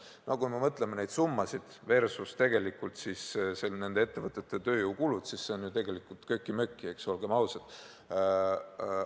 No kui me võrdleme neid summasid nende ettevõtete tööjõukuludega, siis need on ju tegelikult köki-möki, olgem ausad.